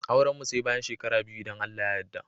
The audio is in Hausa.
Auran mu Sai bayan shekara biyu idan Allah ya yadda.